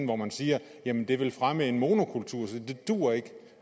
hvor man siger jamen det vil fremme en monokultur så det duer ikke